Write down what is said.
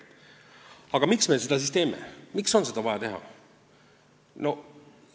Aga miks me seda siis teeme, miks on seda vaja teha?